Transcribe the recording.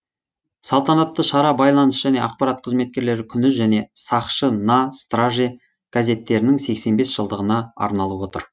салтанатты шара байланыс және ақпарат қызметкерлері күні және сақшы на страже газеттерінің сексен бес жылдығына арналып отыр